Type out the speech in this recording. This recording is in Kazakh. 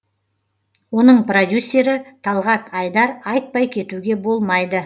оның продюссері талғат айдар айтпай кетуге болмайды